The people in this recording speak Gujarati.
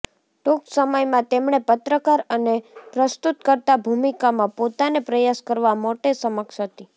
ટૂંક સમયમાં તેમણે પત્રકાર અને પ્રસ્તુતકર્તા ભૂમિકામાં પોતાને પ્રયાસ કરવા માટે સક્ષમ હતી